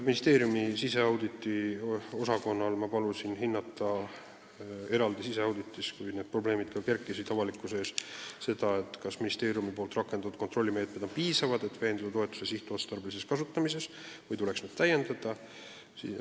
Kui need probleemid avalikkuses üles kerkisid, palusin ma ministeeriumi siseauditiosakonnal teha eraldi siseauditi selle kohta, kas ministeeriumi rakendatud kontrollimeetmetest piisab, et veenduda toetuse sihtotstarbelises kasutamises, või tuleks neid täiendada.